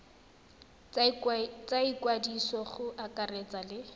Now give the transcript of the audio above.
tsa ikwadiso go akaretsa le